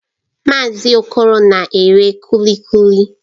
Mazị Okoro na-ere Kuli Kuli